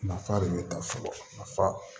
Nafa de be ta fɔlɔ nafa